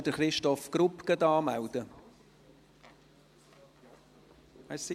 Meldet bitte jemand Christoph Grupp für die Rednerliste an?